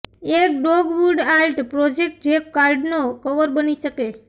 એક dogwood art project જે કાર્ડનો કવર બની શકે